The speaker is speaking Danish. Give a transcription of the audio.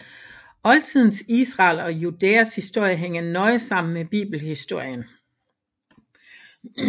Oldtidens Israels og Judæas historie hænger nøje sammen med bibelhistorien